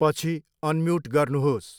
पछि अनम्युट गर्नुहोस्।